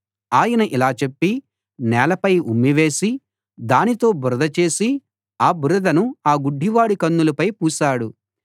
ఆయన ఇలా చెప్పి నేలపై ఉమ్మి వేసి దానితో బురద చేసి ఆ బురదను ఆ గుడ్డివాడి కన్నులపై పూశాడు